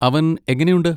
അവൻ എങ്ങനെയുണ്ട്?